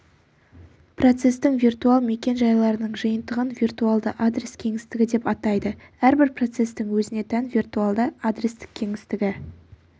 процестің виртуал мекен-жайларының жиынтығын виртуалды адрес кеңістігі деп атайды әрбір процестің өзіне тән виртуалды адрестік кеңістігі